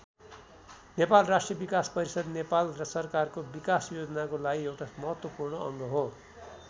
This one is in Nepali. नेपाल राष्ट्रिय विकास परिषद नेपाल सरकारको विकास योजनाको लागि एउता महत्वपूर्ण अङ्ग हो।